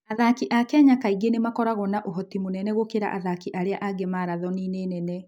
Athaki a Kenya kaingĩ nĩ makoragwo na ũhoti mũnene gũkĩra athaki arĩa angĩ marathoni-inĩ nene.